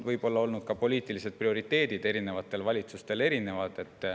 Ju on olnud poliitilised prioriteedid erinevatel valitsustel erinevad.